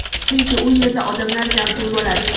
Chunki u yerda odamlar gavjum bo‘ladi.